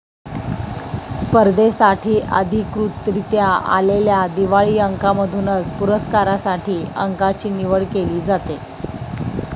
स्पर्धेसाठी अधिकृतरीत्या आलेल्या दिवाळी अंकांमधूनच पुरस्कारांसाठी अंकाची निवड केली जाते